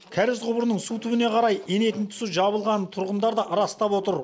кәріз құбырының су түбіне қарай енетін тұсы жабылғанын тұрғындар да растап отыр